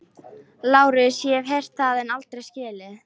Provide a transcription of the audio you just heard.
LÁRUS: Ég hef heyrt það en aldrei skilið.